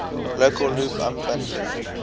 local loop unbundling